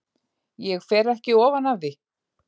Ég fer ekki ofan af því.